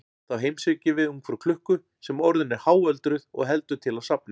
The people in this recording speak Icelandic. Þá heimsækjum við ungfrú klukku sem orðin er háöldruð og heldur til á safni.